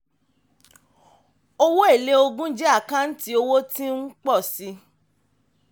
owó èlé ogún jẹ́ àkáǹtí owó tí ń pọ̀ sí i.